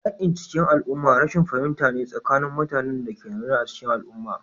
Yakin cikin al'umma rashin fahimta ne tsakanin mutanen da ke zaune a cikin al'umma